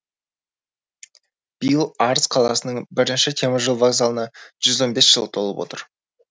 биыл арыс қаласының бірінші теміржол вокзалына жүз он бес жыл толып отыр